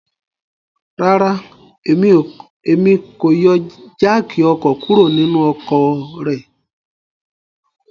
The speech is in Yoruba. Rara, Emi ko yọ jááki ọkọ kuro ninu ọkọ rẹ